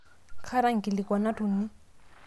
kaata inkikilikuanat uni